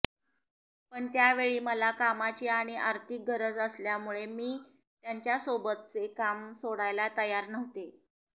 पण त्यावेळी मला कामाची आणि आर्थिक गरज असल्यामुळे मी त्यांच्यासोबतचे काम सोडायला तयार नव्हते